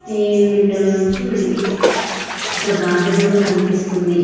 ఈ విండో లోంచి వీళ్ళకి ఒక గార్డెన్ కూడా కనిపిస్తుంది.